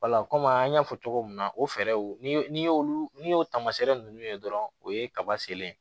kɔmi an y'a fɔ cogo min na o fɛɛrɛw ni olu n'i y'o tamaseere nunnu ye dɔrɔn o ye kaba selen